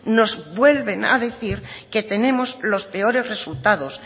nos vuelven a decir que tenemos los peores resultados